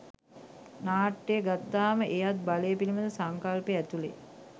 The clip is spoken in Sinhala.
නාට්‍ය ගත්තාම එයත් බලය පිළිබඳ සංකල්පය ඇතුළේ